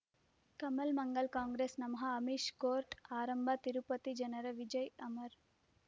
ಕಮಲ್ ಮಂಗಳ್ ಕಾಂಗ್ರೆಸ್ ನಮಃ ಅಮಿಷ್ ಕೋರ್ಟ್ ಆರಂಭ ತಿರುಪತಿ ಜನರ ವಿಜಯ ಅಮರ್